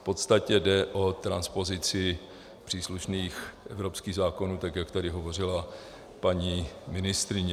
V podstatě jde o transpozici příslušných evropských zákonů, tak jak tady hovořila paní ministryně.